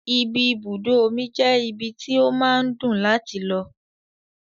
Ibi ibùdó omi je ibi tí ó máa ń dùn láti lọ.